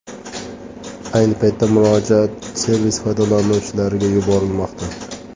Ayni paytda murojaat servis foydalanuvchilariga yuborilmoqda.